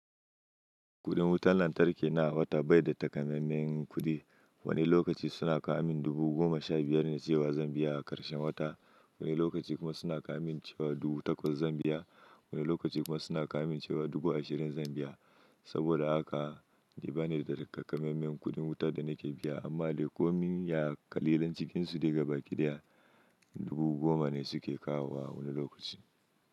Kudin wutar lantarki na awa ta bai da takamaiman kudi. Wani lokaci suna kawomin dubu goma sha biyar na cewa Zambiya a karshen wata, wani lokaci kuma suna kaamin cewa dubu takwas Zambiya, wani lokaci kuma suna kaamin cewa dubu ashirin Zambiya. Saboda haka, ni ba ne da takamaiman kuɗin wuta da na ke biya, amma dai komin ya kalilan cikinsu daga bakiɗiya. Dubu goma ne su ke kawo wa wani lokaci.